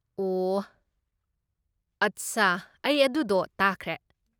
ꯑꯣꯍ, ꯑꯠꯁꯥ, ꯑꯩ ꯑꯗꯨꯗꯣ ꯇꯥꯈ꯭ꯔꯦ꯫